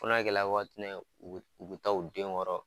Fo na kɛla waati mun na u be taa u denw kɔrɔ.